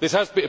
this has